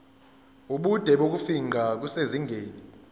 ubude bokufingqa kusezingeni